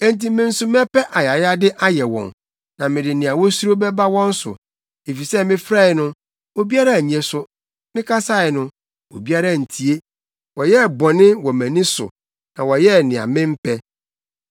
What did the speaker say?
enti me nso mɛpɛ ayayade ayɛ wɔn na mede nea wosuro bɛba wɔn so. Efisɛ mefrɛe no, obiara annye so, mekasae no, obiara antie. Wɔyɛɛ bɔne wɔ mʼani so na wɔyɛɛ nea mempɛ.”